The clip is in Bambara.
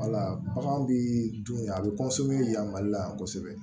Wala bagan bii dun a bɛ yan mali la yan kosɛbɛ